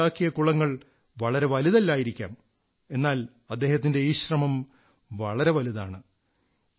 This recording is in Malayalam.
അദ്ദേഹമുണ്ടാക്കിയ കുളങ്ങൾ വളരെ വലുതല്ലായിരിക്കാം എന്നാൽ അദ്ദേഹത്തിന്റെ ഈ ശ്രമം വളരെ വലുതാണ്